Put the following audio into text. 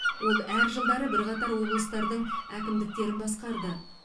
ол әр жылдары бірқатар облыстардың әкімдіктерін басқарды